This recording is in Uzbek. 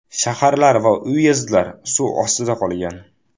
Shaharlar va uyezdlar suv ostida qolgan.